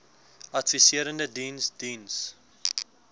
adviserende diens diens